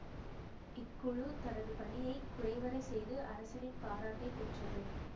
இக்குழு தனது பணியை குறைவற செய்து அரசனின் பாராட்டை பெற்றது